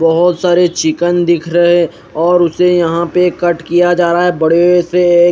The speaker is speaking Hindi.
बहोत सारे चिकन दिख रहे है और उसे यहा पे कट किया जारा बड़े से एक--